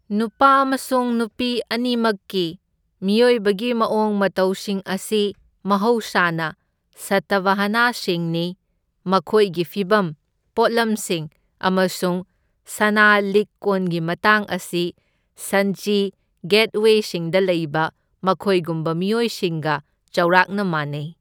ꯅꯨꯄꯥ ꯑꯃꯁꯨꯡ ꯅꯨꯄꯤ ꯑꯅꯤꯃꯛꯀꯤ ꯃꯤꯑꯣꯏꯕꯒꯤ ꯃꯑꯣꯡ ꯃꯇꯧꯁꯤꯡ ꯑꯁꯤ ꯃꯍꯧꯁꯥꯅ ꯁꯇꯚꯍꯅꯁꯤꯡꯅꯤ, ꯃꯈꯣꯏꯒꯤ ꯐꯤꯚꯝ, ꯄꯣꯠꯂꯝꯁꯤꯡ ꯑꯃꯁꯨꯡ ꯁꯅꯥ ꯂꯤꯛ ꯀꯣꯟꯒꯤ ꯃꯇꯥꯡ ꯑꯁꯤ ꯁꯟꯆꯤ ꯒꯦꯠꯋꯦꯁꯤꯡꯗ ꯂꯩꯕ ꯃꯈꯣꯏꯒꯨꯝꯕ ꯃꯤꯑꯣꯏꯁꯤꯡꯒ ꯆꯥꯎꯔꯥꯛꯅ ꯃꯥꯟꯅꯩ꯫